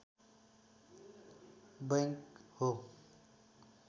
bank हो